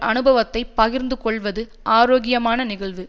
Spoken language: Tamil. அனுபவத்தை பகிர்ந்துகொள்வது ஆரோக்கியமான நிகழ்வு